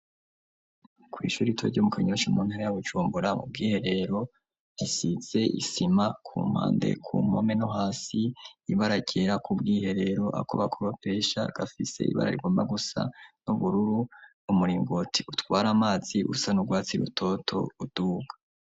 Kw'ishuri itoryo mu kanyonsha muntara ya gucumbura ubwiherero risize isima ku mpande ku mpome no hasi ibararyera ku bwiherero ako bakoropesha gafise ibara rigomba gusa n'ubururu umuringoti utware amazi usa n'urwatsi rutoto uduka.